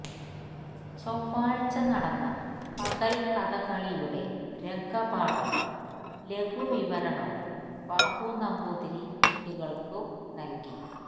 ചൊവ്വാഴ്ച നടന്ന പകൽക്കഥകളിയുടെ രംഗപാഠവും ലഘു വിവരണവും ബാബു നമ്പൂതിരി കുട്ടികൾക്കു നൽകി